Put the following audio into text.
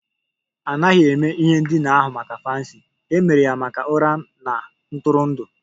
A naghị eme ihe ndina ahụ maka fancy, e mere ya maka ụra na ntụrụndụ